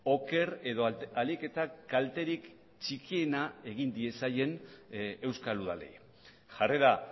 oker edo ahalik eta kalterik txikiena egin diezaien euskal udalei jarrera